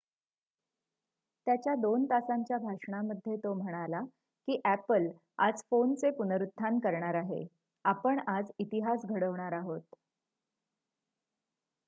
"त्याच्या दोन तासांच्या भाषणामध्ये तो म्हणाला की "अॅपल आज फोनचे पुनरुत्थान करणार आहे आपण आज इतिहास घडवणार आहोत.""